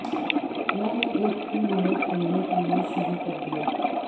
میں نے ایک فلم میں کھیلنے کے لئے شروع کر دیا